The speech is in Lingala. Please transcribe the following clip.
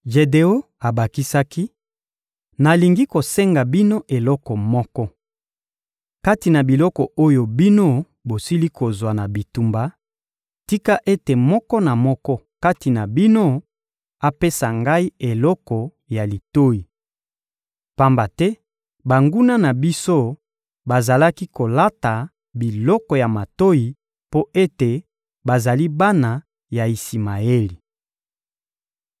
Jedeon abakisaki: — Nalingi kosenga bino eloko moko: Kati na biloko oyo bino bosili kozwa na bitumba, tika ete moko na moko kati na bino apesa ngai eloko ya litoyi. Pamba te banguna na biso bazalaki kolata biloko ya matoyi mpo ete bazali bana ya Isimaeli.